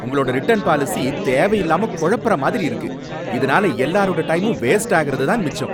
உங்களோட return policy தேவையில்லாம கொழபுறமாரி இருக்கு, இதுனால எல்லாரோட டயமும் வேஸ்டாகறது தான் மிச்சம்.